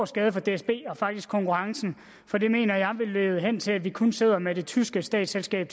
skade for dsb og faktisk for konkurrencen for det mener jeg vil lede hen til at vi kun sidder tilbage med det tyske statsselskab